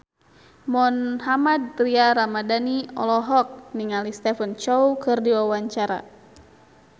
Mohammad Tria Ramadhani olohok ningali Stephen Chow keur diwawancara